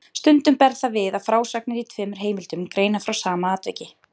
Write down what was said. Stundum ber það við að frásagnir í tveimur heimildum greina frá sama atviki.